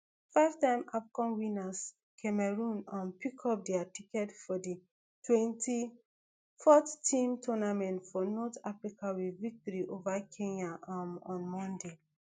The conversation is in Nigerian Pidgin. five time afcon winners cameroon um pickup dia ticket for di twenty-four team tournament for north africa wit victory ova kenya um on monday